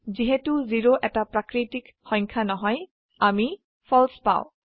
যিহেতু 0 এটা প্ৰাকিটিক সংখ্যা নহয় আমি ফালছে পাও